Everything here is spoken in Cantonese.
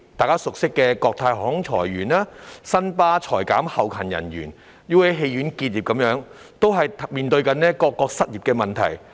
人所共知的國泰航空裁員、新巴裁減後勤人員、UA 戲院結業等，各界正面對着各種失業問題。